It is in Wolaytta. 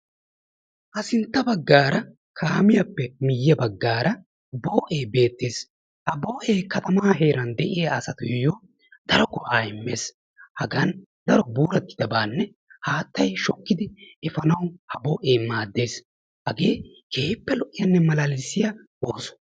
ha sintta bagaara kaammiyappe miye bagaara boo'ee beetees, ha boo'ee katamaa heeran diya astuyo daro go'aa immees, hagan daro mooretidaabanne haatay shokki efaanawu ha boo'ee maadees, hagee keehippe malaalissiya ooso.